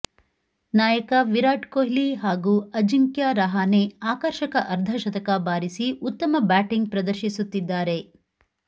ನಾಯಕ ವಿರಾಟ್ ಕೊಹ್ಲಿ ಹಾಗೂ ಅಜಿಂಕ್ಯ ರಹಾನೆ ಆಕರ್ಷಕ ಅರ್ಧಶತಕ ಬಾರಿಸಿ ಉತ್ತಮ ಬ್ಯಾಟಿಂಗ್ ಪ್ರದರ್ಶಿಸುತ್ತಿದ್ದಾರೆ